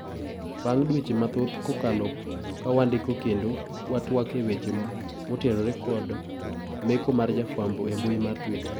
Bang dweche mathoth kokalo kawandiko kendo watwak eweche motenore kod kod meko mar jofwambo embui mar Twitta.